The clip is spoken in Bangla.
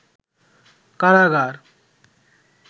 কারাগার